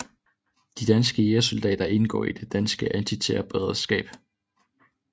De danske jægersoldater indgår i det danske antiterrorberedskab